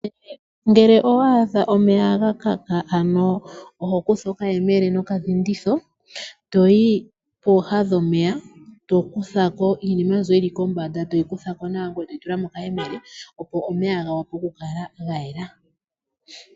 Ngele owaadha omeya ga kaka ano oho kutha okayemele noka dhinditho, toyi pooha dhomeya, tokutha ko iinima mbyo yili kombanda yomeya, toyi kuthako nawa etoyi tula mokayemele, opo omeya ga wape oku kala ga yela.